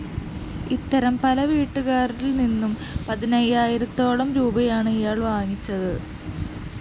ഇത്തരത്തില്‍ പല വീട്ടുകാരില്‍ നിന്നും പതിനയ്യായിരത്തോളം രൂപയാണ് ഇയാള്‍ വാങ്ങിച്ചത്